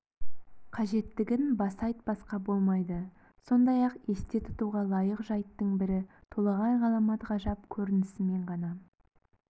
қажеттігін баса айтпасқа болмайды сондай-ақ есте тұтуға лайық жайттың бірі толағай ғаламат ғажап көрінісімен ғана